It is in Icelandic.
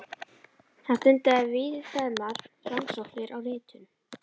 Hann stundaði víðfeðmar rannsóknir á ritun